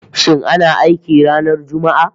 Shin ana aiki ranar Juma'a?